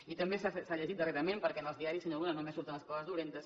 i també s’ha llegit darrerament perquè en els diaris senyor luna només surten les coses dolentes